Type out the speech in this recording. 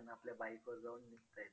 नाव रमाबाई असे होते.